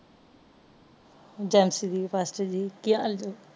ਜਲਸਰੀ ਬਸਤਜੀ ਕਿ ਹਾਲ ਜੇ